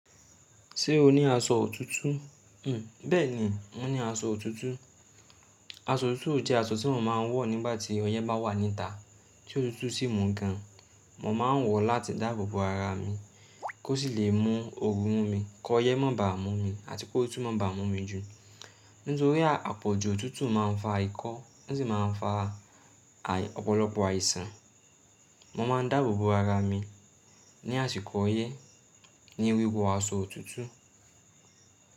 Ṣé o ní aṣọ òtútù? Bẹ́ẹ̀ni, mo ní aṣọ òtútù. Aṣọ òtútù jẹ́ aṣọ tí mo máa ń wọ̀ nígbà tí ọyẹ́ bá wà níta, tí òtútù sì mú gan. Mò máa ń wọ̀ láti dáàbò bo ara mi kó sì lè mú ooru mú mi, kọ yẹ́ má ba mú mi àti ki ótútu máa ba mú mi jù. Nítorí àpọ̀jù òtútù máa ń fa ìkọ́, ó sì máa ń fa ọ̀pọ̀lọpọ̀ àìsàn. Mo máa ń dáàbò bo ara mi ní àsìkò ọyẹ́ ní wíwọ aṣọ òtútù.